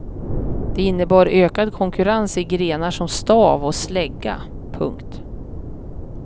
Det innebar ökad konkurrens i grenar som stav och slägga. punkt